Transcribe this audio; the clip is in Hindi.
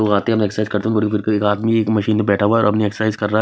ओ आते हम एक्सरसाइज करते के एक आदमी एक मशीन पे बैठा हुआ है और अपनी एक्सरसाइज कर रहा है।